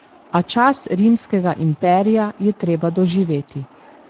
A čas rimskega imperija je treba doživeti.